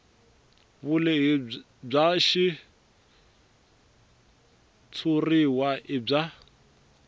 vulehi bya xitshuriwa i bya